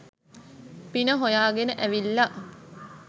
පින හොයාගෙන ඇවිල්ලා